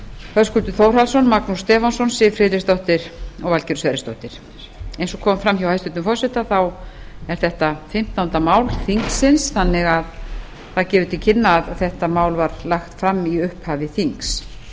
höskuldur þórhallsson magnús stefánsson siv friðleifsdóttir og valgerður sverrisdóttir eins og kom fram hjá hæstvirtum forseta er þetta fimmtánda mál þingsins þannig að það gefur til kynna að þetta mál var lagt fram í upphafi þings